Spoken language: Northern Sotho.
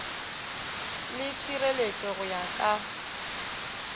le tšhireletšo go ya ka